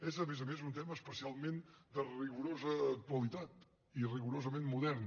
és a més a més un tema especialment de rigorosa actualitat i rigorosament modern